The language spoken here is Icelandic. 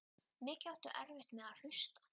Mikið áttu erfitt með að hlusta.